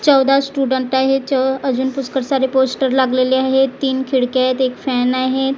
चौदा स्टुडंट आहे अजून पुष्कळ सारे पोस्टर लागलेले आहेत तीन खिडक्या आहेत एक फॅन आहेत.